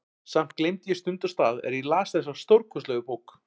Samt gleymdi ég stund og stað er ég las þessa stórkostlegu bók.